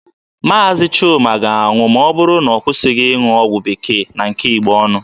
Maazi Chuma ga-anwụ ma ọ bụrụ na ọ kwụsịghị ịṅụkọ ọgwụ bekee na nke Igbo ọnụ.